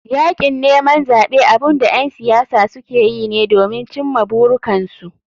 Yakin neman zaɓe abunda ƴan siyasa sukeyi ne domin cimma burikansu.